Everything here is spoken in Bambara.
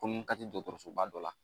Komi n ka te dɔkɔtɔrɔsoba dɔ la